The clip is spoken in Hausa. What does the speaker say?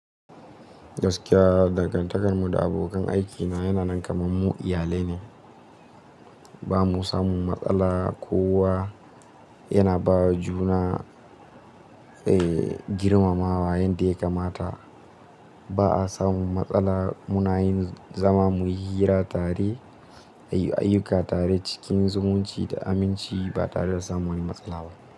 Gaskiya, dangantakarmu da abokan aikina yana nan kamar mu iyalai ne. Ba mu samu matsala kowa yana ba juna, eh, girmamawa yadda ya kamata. Ba a samu matsala muna yin, zama muyi hira tare, ayyuka tare cikin zumunci da aminci ba tare da samun wani matsala ba.